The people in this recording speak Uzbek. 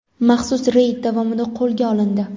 maxsus reyd davomida qo‘lga olindi.